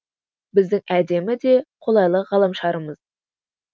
біздің әдемі де қолайлы ғаламшарымыз